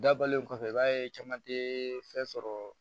Dabɔlen kɔfɛ i b'a ye caman tɛ fɛn sɔrɔ